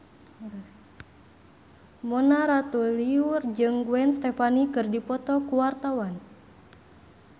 Mona Ratuliu jeung Gwen Stefani keur dipoto ku wartawan